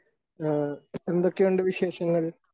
എന്തൊക്കെയുണ്ട് വിശേഷങ്ങൾ ?